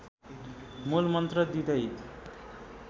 मूल मन्त्र दिँदै